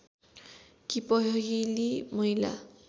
कि पहिली महिला